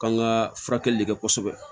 K'an ka furakɛli de kɛ kosɛbɛ